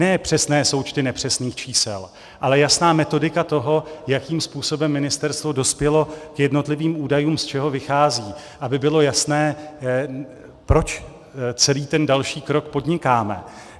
Ne přesné součty nepřesných čísel, ale jasná metodika toho, jakým způsobem ministerstvo dospělo k jednotlivým údajům, z čeho vychází, aby bylo jasné, proč celý ten další krok podnikáme.